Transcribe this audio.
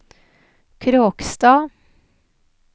Kråkstad